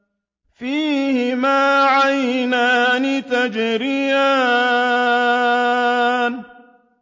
فِيهِمَا عَيْنَانِ تَجْرِيَانِ